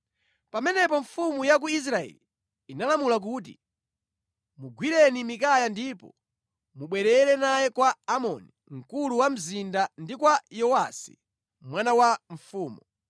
Pamenepo mfumu ya ku Israeli inalamula kuti, “Mugwireni Mikaya ndipo mubwerere naye kwa Amoni mkulu wa mzinda, ndi kwa Yowasi mwana wa mfumu